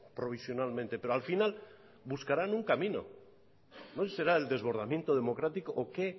provisionalmente pero al final buscarán un camino no sé si será el desbordamiento democrático o qué